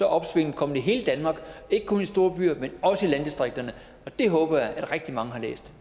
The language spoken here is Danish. opsvinget kommet i hele danmark ikke kun i storbyerne men også i landdistrikterne og det håber jeg at rigtig mange